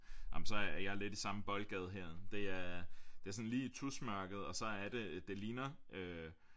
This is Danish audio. Ah men så jeg er lidt i samme boldgade her det er det sådan lige tusmærket og så er det det ligner